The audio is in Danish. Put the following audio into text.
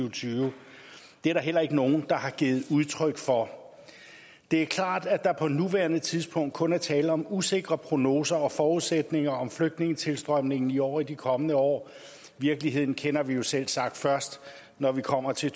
og tyve det er der heller ikke nogen der har givet udtryk for det er klart at der på nuværende tidspunkt kun er tale om usikre prognoser og forudsætninger om flygtningetilstrømningen i år og i de kommende år virkeligheden kender vi jo selvsagt først når vi kommer til